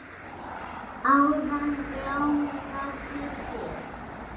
Áðan glámu gat ég séð.